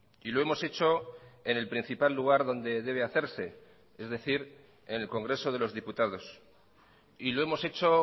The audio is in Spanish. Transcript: y lo hemos hecho en el principal lugar donde debe hacerse es decir en el congreso de los diputados y lo hemos hecho